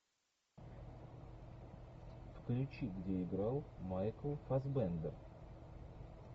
включи где играл майкл фассбендер